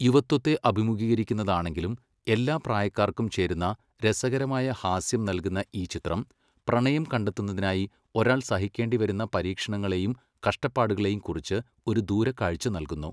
യുവത്വത്തെ അഭിമുഖീകരിക്കുന്നതാണെങ്കിലും എല്ലാ പ്രായക്കാർക്കും ചേരുന്ന രസകരമായ ഹാസ്യം നൽകുന്ന ഈ ചിത്രം, പ്രണയം കണ്ടെത്തുന്നതിനായി ഒരാൾ സഹിക്കേണ്ടിവരുന്ന പരീക്ഷണങ്ങളേയും കഷ്ടപ്പാടുകളേയും കുറിച്ച് ഒരു ദൂരക്കാഴ്ച നൽകുന്നു.